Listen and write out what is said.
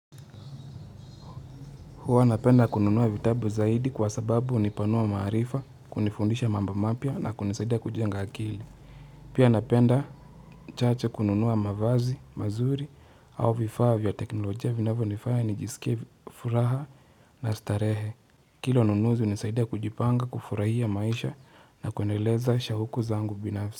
Huwa napenda kununuwa vitabu zaidi kwa sababu unipanua maarifa, kunifundisha mambo mapya na kunisaidia kujenga akili. Pia napenda chache kununuwa mavazi, mazuri au vifaa vya teknolojia vinavyo nifanya nijisikia furaha na starehe. Kilo nunuzi unisaidia kujipanga, kufurahia maisha na kwendeleza shahuku zangu binafsi.